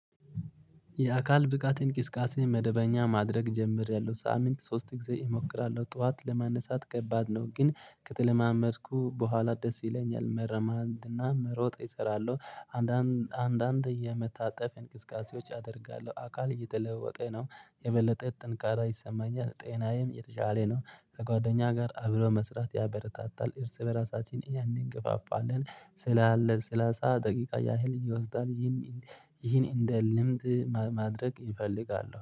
የአካል ብቃት እንቅስቃሴ መደበኛ ማድረግ ጀምሬያለሁ ሳሚንት ሶስት ጊዜ እሞክራለሁ ጠዋት ለማነሳት ከባድ ነው ግን ከተለማመድኩ በኋላ ደስ ይለኛል መረማንና መሮጥ እሰራለሁ። አንዳንድ አንዳንድ የመታጠፍ እንቅስቃሴዎች አደርጋለሁ አካል እየተለወጠ ነው የበለጠ ጥንካሬ ይሰማኛል ጤናዬም የተሻለ ነው። ከጓደኛ ጋር አብሮ መስራት ያበረታታል እርስ በራሳችን ያንን ግፋፋለን። ስላለ ስላሳ ደቂቃ ያህል ይወስዳል ይህን ይህን እንደ ልምድ ማድረግ ይፈልጋለው